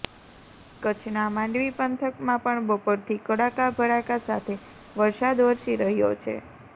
કચ્છના માંડવી પંથકમાં પણ બપોરથી કડાકા ભડાકા સાથે વરસાદ વરસી રહ્યો છે